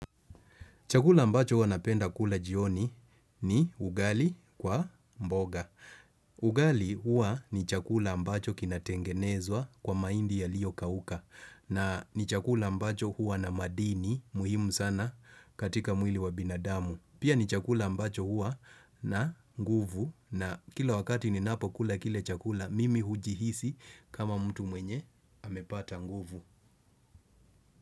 Chakula ambacho huwa napenda kula jioni ni ugali kwa mboga. Ugali huwa ni chakula ambacho kinatengenezwa kwa mahindi yaliyokauka. Na ni chakula ambacho huwa na madini muhimu sana katika mwili wa binadamu. Pia ni chakula ambacho huwa na nguvu na kila wakati ninapo kula kile chakula mimi hujihisi kama mtu mwenye amepata nguvu.